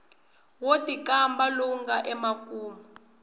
wo tikamba lowu nga emakumu